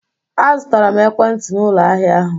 Azụtara m ekwentị n'ụlọ ahịa ahụ